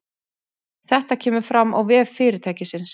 Þetta kemur fram á vef fyrirtækisins